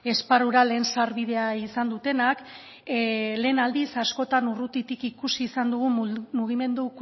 esparrura lehen sarbidea izan dutenak lehen aldiz askotan urrutitik ikusi izan dugu mugimendu